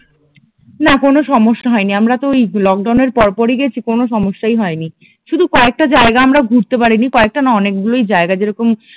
না কোনো সমস্যা হয়নি আমরা তো ওই লকডাউন এর পরপরই গেছি কোনো সমস্যাই হয়নি শুধু কয়েকটা জায়গা আমরা ঘুরতে পারিনি কয়েকটা না অনেকগুলোই জায়গা যেরকম